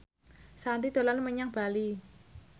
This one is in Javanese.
Shanti dolan menyang Bali